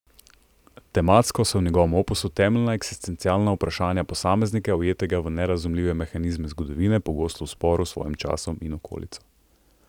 Tematsko so v njegovem opusu temeljna eksistencialna vprašanja posameznika, ujetega v nerazumljive mehanizme zgodovine, pogosto v sporu s svojim časom in okolico.